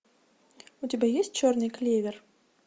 у тебя есть черный клевер